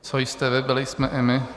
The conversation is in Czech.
Co jste vy, byli jsme i my.